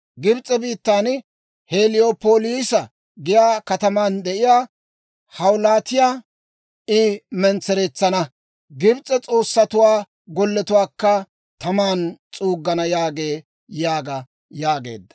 Gibs'e biittan Heliyoopoolisa giyaa kataman de'iyaa hawulttiyaa I mentsereetsana; Gibs'e s'oossatuwaa golletuwaakka taman s'uuggana» yaagee› yaaga» yaageedda.